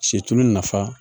Situlu nafa